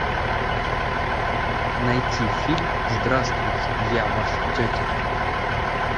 найти фильм здравствуйте я ваша тетя